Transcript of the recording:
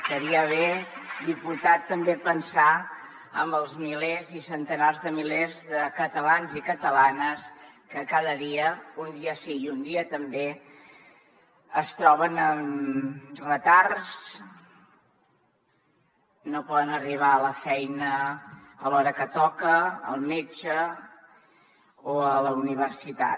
estaria bé diputat també pensar en els centenars de milers de catalans i catalanes que cada dia un dia sí i un dia també es troben amb retards no poden arribar a la feina a l’hora que toca al metge o a la universitat